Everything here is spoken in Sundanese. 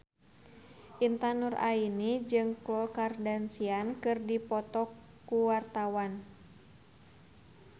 Intan Nuraini jeung Khloe Kardashian keur dipoto ku wartawan